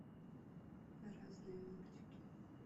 разные мультики